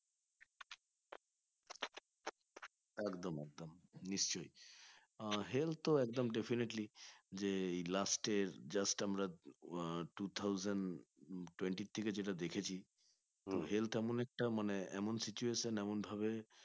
নিশ্চই ah health তো একদম definitely যে last এর just আমরা আহ two thousand twentith থেকে যেটা দেখেছি health এমন একটা মানে এমন situation এমন ভাবে